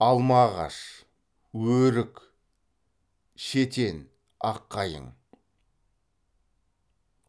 алма ағаш өрік шетен ақ қайың